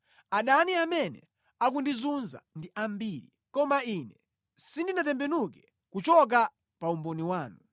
Adani amene akundizunza ndi ambiri, koma ine sindinatembenuke kuchoka pa umboni wanu.